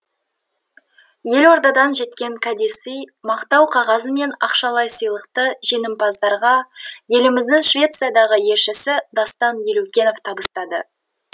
елордадан жеткен кәдесый мақтау қағазы мен ақшалай сыйлықты жеңімпаздарға еліміздің швециядағы елшісі дастан елеукенов табыстады